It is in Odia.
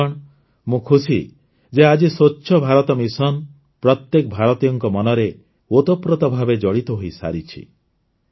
ବନ୍ଧୁଗଣ ମୁଁ ଖୁସି ଯେ ଆଜି ସ୍ୱଚ୍ଛ ଭାରତ ମିଶନ ପ୍ରତ୍ୟେକ ଭାରତୀୟଙ୍କ ମନରେ ଓତପ୍ରୋତ ଭାବେ ଜଡ଼ିତ ହୋଇସାରିଛି